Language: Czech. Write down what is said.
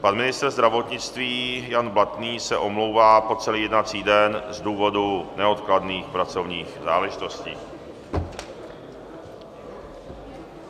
Pan ministr zdravotnictví Jan Blatný se omlouvá po celý jednací den z důvodu neodkladných pracovních záležitostí.